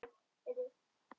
Sem þú komst með.